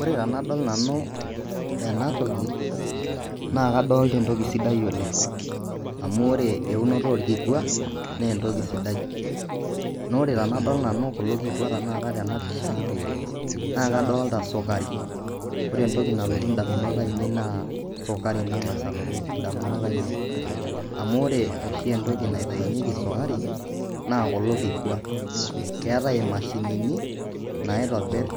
Ore tenadol nanu ena toki naa kadolita entoki sidai oleng' amu ore eunoto orkikua naa entoki sidai naa ore tenadol nanu kulo kikua tena pisha naa kadolita sukari ore entoki nalotu indamunot ainei naa sukari nang'as alotu indamunot ainei amu ore oshi entoki naitayunyieki sukari naa kulo kikua, keetai imashinini naitobirr